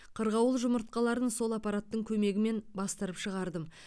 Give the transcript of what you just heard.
қырғауыл жұмыртқаларын сол аппараттың көмегімен бастырып шығардым